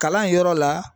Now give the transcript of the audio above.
Kalan yɔrɔ la